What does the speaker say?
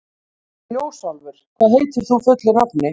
Ljósálfur, hvað heitir þú fullu nafni?